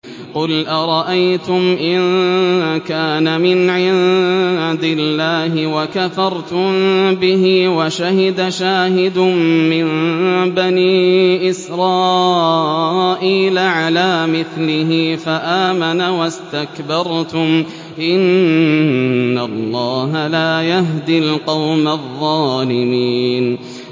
قُلْ أَرَأَيْتُمْ إِن كَانَ مِنْ عِندِ اللَّهِ وَكَفَرْتُم بِهِ وَشَهِدَ شَاهِدٌ مِّن بَنِي إِسْرَائِيلَ عَلَىٰ مِثْلِهِ فَآمَنَ وَاسْتَكْبَرْتُمْ ۖ إِنَّ اللَّهَ لَا يَهْدِي الْقَوْمَ الظَّالِمِينَ